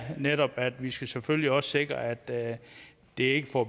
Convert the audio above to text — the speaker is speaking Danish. nemlig at vi selvfølgelig også skal sikre at det det ikke får